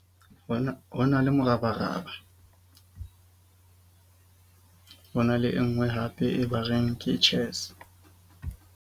Ho na le morabaraba ho na le e nngwe, hape e ba reng ke chess.